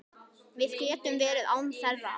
Við getum verið án þeirra.